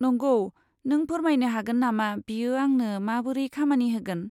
नंगौ, नों फोरमायनो हागोन नामा बियो आंनो माबोरै खामानि होगोन?